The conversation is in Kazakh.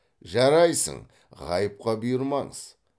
жарайсың ғайыпқа бұйырмаңыз